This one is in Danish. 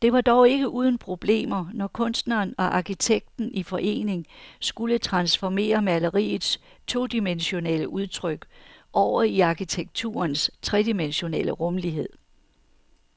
Det var dog ikke uden problemer, når kunstneren og arkitekten i forening skulle transformere maleriets todimensionelle udtryk over i arkitekturens tredimensionelle rumlighed.